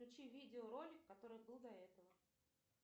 включи видеоролик который был до этого